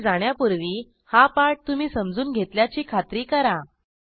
पुढे जाण्यापूर्वी हा पाठ तुम्ही समजून घेतल्याची खात्री करा